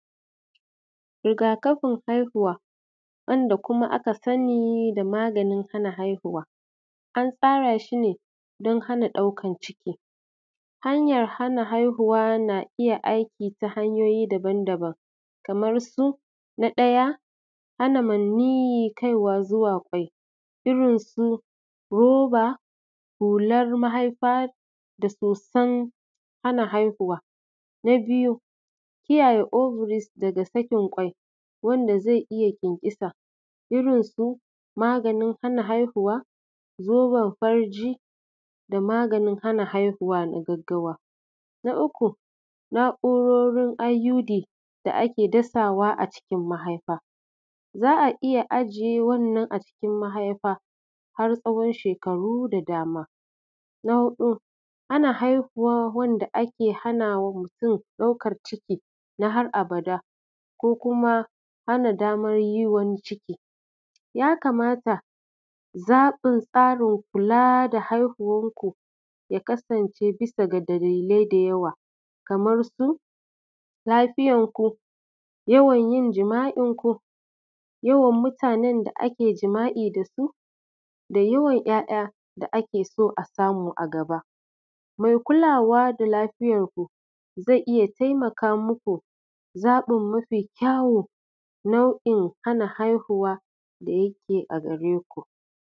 Riga-kafin haihuwa, wanda kuma aka sani da maganin hana haihuwa, an tsara shi ne don hana ɗaukar ciki. Hanyar hana haihuwa na iya aiki ta hanyoyi daban daban kamar su: na ɗaya, hana hana maniyyi kaiwa zuwa ƙwai, irin su roba, hular mahaifa da soson hana haihuwa. Na biyu, kiyaye ovaries daga sakin ƙwai wanda zai iya ƙyanƙyasa, irin su maganin hana haihuwa, zoben farji da maganin hana haihuwa na gaggawa Na uku, na’urorin IUDs, da ake dasawa a cikin mahaifa. Za a iya ajiye wannan a cikin mahaifa har tsawon shekaru da dama. Na huɗu, ana haihuwar wanda ake hana wa mutum ɗaukar ciki na har abada ko kuma hana damar yin wani cikin. Ya kamata zaɓin tsarin kula da haihuwarku ya kasance bisa ga dalilai da yawa kamar su: lafiyarku, yawan yin jima’inku, yawan mutanen da ake jima’i da su, da yawan ‘ya’ya da ake so a samu a gaba. Mai kulawa da lafiyarku zai iya taimaka muku zaɓin mafi kyawu nau’in hana haihuwa da yake a gare ku.